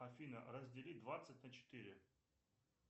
афина раздели двадцать на четыре